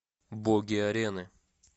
боги арены